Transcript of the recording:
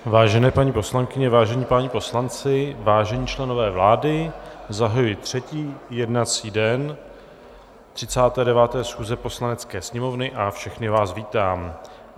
Vážené paní poslankyně, vážení páni poslanci, vážení členové vlády, zahajuji třetí jednací den 39. schůze Poslanecké sněmovny a všechny vás vítám.